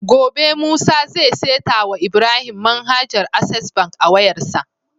Gobe musa zai seta wa Ibrahim manhajar access bank a wayar sa